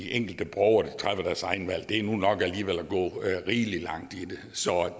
enkelte borgere træffer deres egne valg er nu nok at gå rigelig langt så